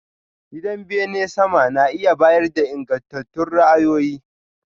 Gidan bene sama na iya bayar da ingantattun ra'ayoyi.